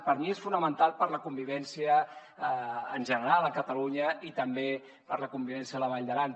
per mi és fonamental per a la convivència en general a catalunya i també per a la convivència a la vall d’aran